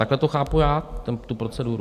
Takhle to chápu já tu proceduru.